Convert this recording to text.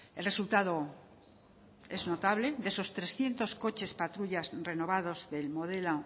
el resultado es notable de esos trescientos coches patrullas renovados del modelo